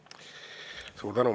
Suur tänu!